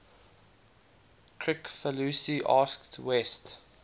kricfalusi asked west